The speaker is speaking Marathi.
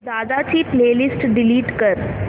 दादा ची प्ले लिस्ट डिलीट कर